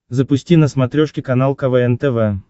запусти на смотрешке канал квн тв